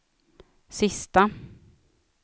sista